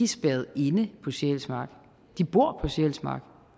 spærret inde på sjælsmark de bor på sjælsmark